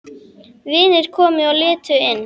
Vinir komu og litu inn.